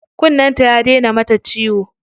Kunnen ta ya daina mata ciwo.